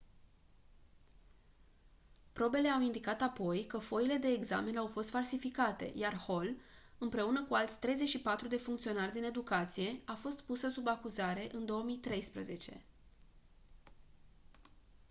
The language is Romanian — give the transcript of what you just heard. probele au indicat apoi că foile de examen au fost falsificate iar hall împreună cu alți 34 de funcționari din educație a fost pusă sub acuzare în 2013